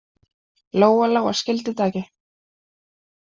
Lóa-Lóa skildi þetta ekki.